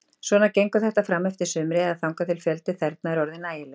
Svona gengur þetta frameftir sumri, eða þangað til fjöldi þerna er orðinn nægilegur.